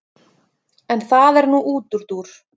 En það er nú útúrdúr.